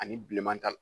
Ani bilenman ta